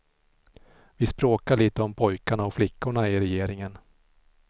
Vi språkar lite om pojkarna och flickorna i regeringen.